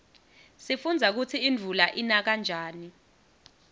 sifundza kutsi imvula ina njani